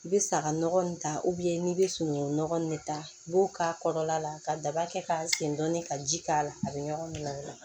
I bɛ saga nɔgɔ in ta n'i bɛ sunungun nɔgɔ nin ta i b'o k'a kɔrɔla la ka daba kɛ k'a sen dɔɔnin ka ji k'a la a bɛ ɲɔgɔn minɛ